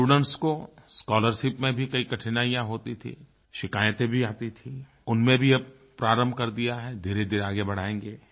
students को scholarship में भी कई कठिनाइयाँ होती थीं शिकायतें भी आती थीं उनमें भी अब प्रारंभ कर दिया है धीरेधीरे आगे बढ़ाएंगे